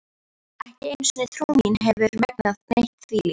Ekki einu sinni trú mín hefur megnað neitt þvílíkt.